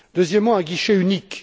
Deuxièmement, un guichet unique.